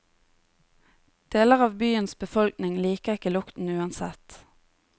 Deler av byens befolkning liker ikke lukten uansett.